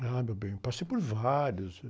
Ah, meu bem, passei por vários.